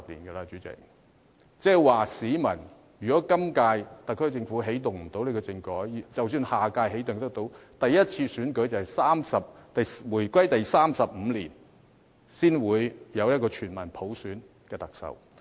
代理主席，即是說如果本屆特區政府無法起動政改，即使可在下一屆起動，首次選舉也要在回歸第三十五年，才可產生一位由全民普選的特首。